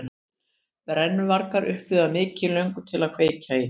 Brennuvargar upplifa mikla löngun til að kveikja í.